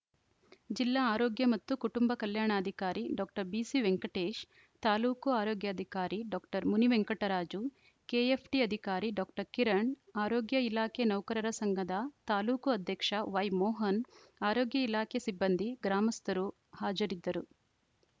ಜಿಲ್ಲಾ ಆರೋಗ್ಯ ಮತ್ತು ಕುಟುಂಬ ಕಲ್ಯಾಣಾಧಿಕಾರಿ ಡಾಕ್ಟರ್ ಬಿಸಿ ವೆಂಕಟೇಶ್‌ ತಾಲೂಕು ಆರೋಗ್ಯಾಧಿಕಾರಿ ಡಾಕ್ಟರ್ ಮುನಿವೆಂಕಟರಾಜು ಕೆಎಫ್‌ಡಿ ಅಧಿಕಾರಿ ಡಾಕ್ಟರ್ ಕಿರಣ್‌ ಆರೋಗ್ಯ ಇಲಾಖೆ ನೌಕರರ ಸಂಘದ ತಾಲೂಕು ಅಧ್ಯಕ್ಷ ವೈಮೋಹನ್‌ ಆರೋಗ್ಯ ಇಲಾಖೆ ಸಿಬ್ಬಂದಿ ಗ್ರಾಮಸ್ಥರು ಹಾಜರಿದ್ದರು